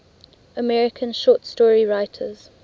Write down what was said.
american short story writers